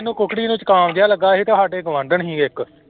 ਕੁਕੜੀ ਨੂੰ ਜੁਕਾਮ ਜਿਹਾ ਲੱਗਾ ਸੀ ਤੇ ਸਾਡੇ ਗੁਆਂਢਣ ਸੀ ਇੱਕ।